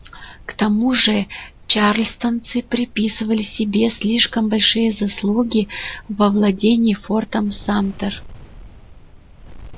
к тому же чарльстонцы приписывали себе слишком большие заслуги в овладении фортом самтер